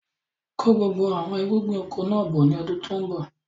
Kó gbogbo àwọn irúgbìn oko náà bọ̀ ni ọdún tòun bọ̀!